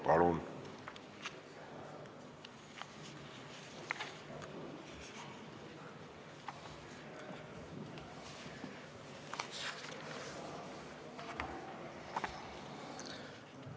Palun!